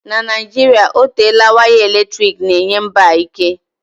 Na Naijiria otela waya eletrik na-enye mba a ike.